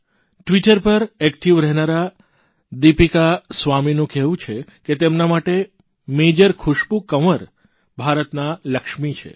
Twitter પર active રહેનારા દિપીકા સ્વામીનું કહેવું છે કે તેમના માટે મેજર ખુશ્બુ કંવર ભારતના લક્ષ્મી છે